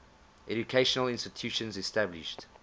educational institutions established